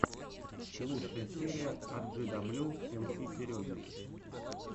лучшая серия арджидаблю эмси сереги